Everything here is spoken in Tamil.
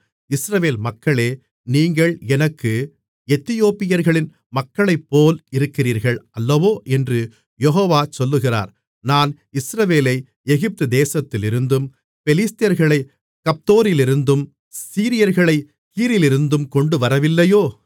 இஸ்ரவேல் மக்களே நீங்கள் எனக்கு எத்தியோப்பியர்களின் மக்களைப்போல் இருக்கிறீர்கள் அல்லவோ என்று யெகோவா சொல்லுகிறார் நான் இஸ்ரவேலை எகிப்து தேசத்திலிருந்தும் பெலிஸ்தர்களைக் கப்தோரிலிருந்தும் சீரியர்களைக் கீரிலிருந்தும் கொண்டுவரவில்லையோ